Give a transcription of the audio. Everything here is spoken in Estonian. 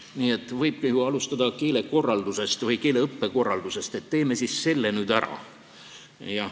Nii et võibki alustada keeleõppekorraldusest, et teeme siis selle nüüd ära.